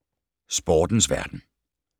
Sportens verden